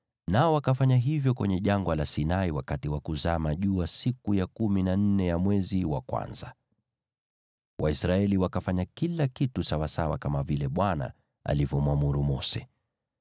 nao wakafanya hivyo kwenye Jangwa la Sinai wakati wa kuzama jua siku ya kumi na nne ya mwezi wa kwanza. Waisraeli wakafanya kila kitu kama vile Bwana alivyomwamuru Mose.